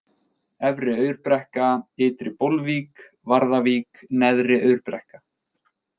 Efri-Aurbrekka, Ytri-Bólvík, Varðavík, Neðri-Aurbrekka